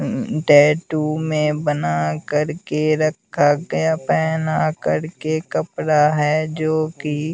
tattoo में बना कर के रखा गया पहना करके कपड़ा हैं जो कि--